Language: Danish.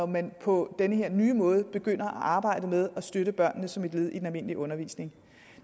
man på den her nye måde begynder at arbejde med at støtte børnene som et led i den almindelige undervisning